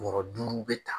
Bɔrɔ duuru bɛ ta